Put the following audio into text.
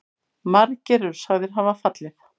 Margir eru sagðir hafa fallið.